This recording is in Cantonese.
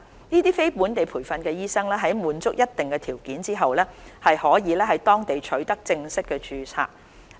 這些非本地培訓醫生在滿足一定條件後，便可在當地取得正式註冊。